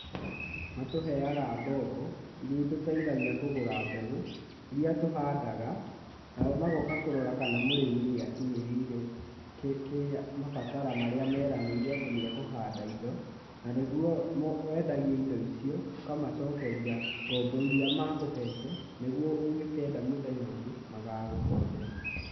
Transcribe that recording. Matũheaga ngombo iria ituteithagia kũgũra mbegu iria tũhandaga, nao magoka kũrora kana mũrĩmi nĩakinyĩrĩire kĩrĩa..mabatara marĩa meranĩire atĩ nĩ ekũhanda indo na nĩguo wendagie indo icio, ũkamacokeria ngombo iria makũhete nigũo ũngĩkenda mũthenya ũngĩ magagũkombera.